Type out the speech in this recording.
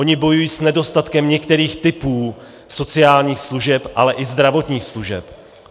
Oni bojují s nedostatkem některých typů sociálních služeb, ale i zdravotních služeb.